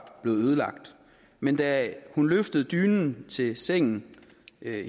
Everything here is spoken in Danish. blevet ødelagt men da hun løftede dynen til sengen